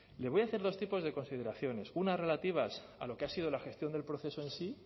le voy a hacer dos tipos de consideraciones unas relativas a lo que ha sido la gestión del proceso en sí